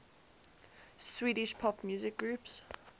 swedish pop music groups